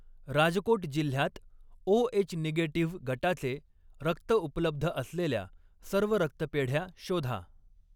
राजकोट जिल्ह्यात O H negative गटाचे रक्त उपलब्ध असलेल्या सर्व रक्तपेढ्या शोधा.